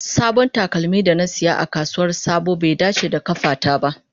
Sabon takalmin da na saya a kasuwar sabo bai dace da kafata ba.